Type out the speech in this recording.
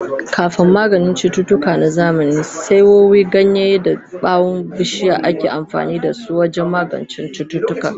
Kafin maganin cututtuka na zamani, saiwoyi, ganyaye da ɓawon bishiya ake amfani da su wajen magance cututtuka.